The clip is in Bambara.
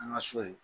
An ka so ye